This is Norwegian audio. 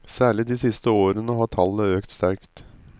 Særlig de siste årene har tallet øket sterkt.